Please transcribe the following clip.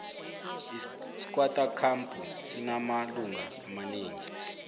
iskwatta campu sinamalunga amaneng